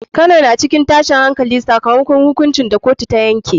Kano na cikin tashin hankali sakamakon hukuncin da kotu ta yanke.